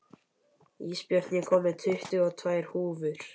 Ísbjörn, ég kom með tuttugu og tvær húfur!